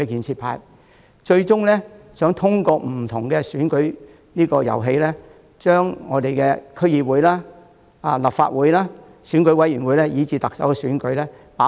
他們最終希望通過不同的選舉遊戲，掌控區議會、立法會、選舉委員會，甚至特首選舉。